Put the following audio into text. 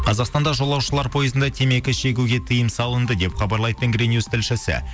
қазақстанда жолаушылар пойызында темекі шегуге тиым салынды деп хабарлайды тенгринюс тілшісі